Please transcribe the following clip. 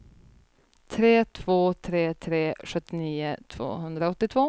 tre två tre tre sjuttionio tvåhundraåttiotvå